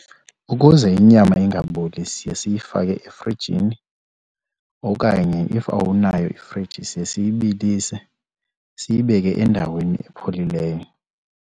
Ukuze inyama ingaboli siye siyifake efrijini okanye if awunayo ifriji siye siyibilise, siyibeke endaweni epholileyo.